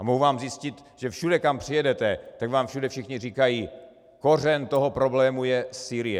A mohu vám zjistit, že všude, kam přijedete, tak vám všude všichni říkají: kořen toho problému je Sýrie.